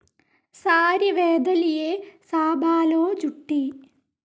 സാരി വേദലിയേ സാബാലോ ജുട്ടി